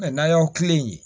N'an y'aw kilen yen